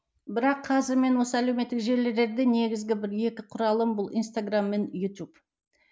бірақ қазір мен осы әлеуметтік желілерде негізгі бір екі құралым бұл инстаграмм мен ютуб